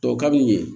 Dɔ ka di u ye